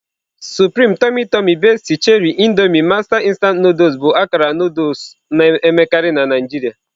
Supreme, Tummy Tumy, Bestie, Cherie, Indomie, Master instant Nụdụls bụ akara Nụdụls na-emekarị na Naijiria.